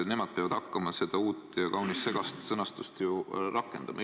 Nemad peavad ju hakkama seda uut ja kaunis segast sõnastust rakendama.